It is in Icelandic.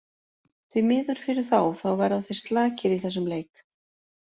Því miður fyrir þá, þá verða þeir slakir í þessum leik.